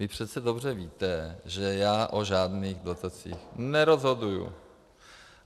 Vy přece dobře víte, že já o žádných dotacích nerozhoduju!